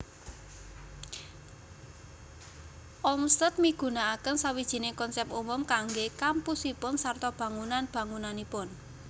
Olmsted migunakaken sawijining konsèp umum kanggé kampusipun sarta bangunan bangunanipun